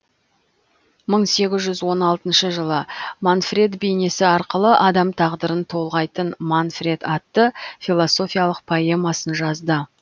мың сегіз жүз он алтыншы жылы манфред бейнесі арқылы адам тағдырын толғайтын манфред атты философиялық поэмасын жазды